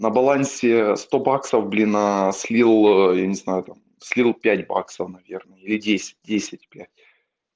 на балансе сто баксов блин а слил я не знаю там слил пять баксов наверное или десять десять блять